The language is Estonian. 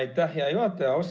Aitäh, hea juhataja!